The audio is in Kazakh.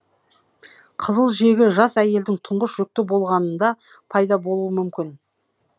қызыл жегі жас әйелдің тұңғыш жүкті болғанында пайда болуы мүмкін